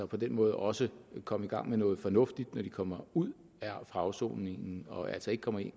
på den måde også komme i gang med noget fornuftigt når de kommer ud fra afsoning og altså ikke komme